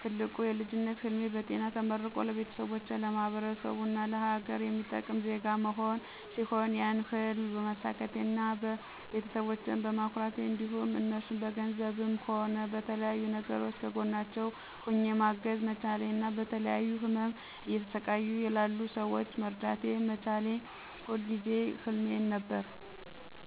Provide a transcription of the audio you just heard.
ትልቁ የልጅነት ህልሜ በጤና ተመርቆ ለቤተሰቦቼ፣ ለማህበረሰቡ እና ለሀገር የሚጠቅም ዜጋ መሆን ሲሆን ያን ህልም በማሳካቴ እና ቤተሰቦቸን በማኩራቴ እንዲሁም እነርሱን በገንዘብም ሆነ በተለያዩ ነገሮች ከጎናቸው ሆኘ ማገዝ መቻሌ እና በተለያዩ ህመሞች እየተሰቃዩ ላሉ ሰወችን መርዳት መቻሌ የሁል ጊዜ ህልሜ ነበር።